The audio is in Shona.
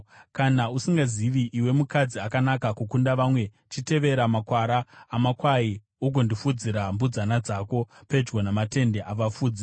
Kana usingazivi, iwe mukadzi akanaka kukunda vamwe, chitevera makwara amakwai ugondofudzira mbudzana dzako pedyo namatende avafudzi.